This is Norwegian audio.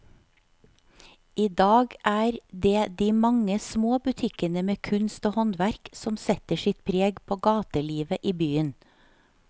I dag er det de mange små butikkene med kunst og håndverk som setter sitt preg på gatelivet i byen.